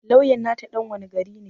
Lawyan nata ɗan wane gari ne